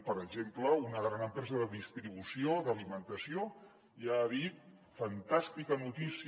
per exemple una gran empresa de distribució d’alimentació ja ha dit fantàstica notícia